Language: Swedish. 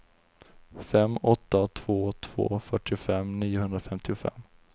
fem åtta två två fyrtiofem niohundrafemtiofem